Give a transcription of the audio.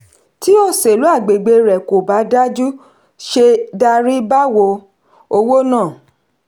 tí òsèlú agbègbè rẹ̀ kò bá dájú ṣé darí báwo? owó náà.